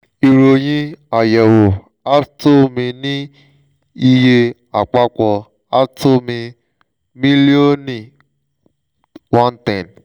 ìròyìn àyẹ̀wò ààtọ̀ mi ni iye àpapọ̀ ààtọ̀ mi: mílíọ̀ni one ten